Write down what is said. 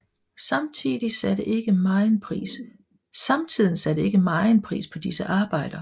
Samtiden satte ikke megen pris på disse arbejder